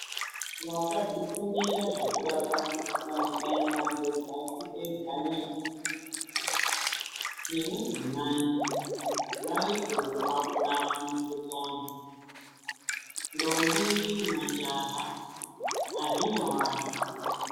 Vakazvifundira zvekurapa mukuhlani aimadhodhapi ega nei, nemadzimai varipowo pakurapa mikuhlani. Ndombi, majaha, hazvina wazvo.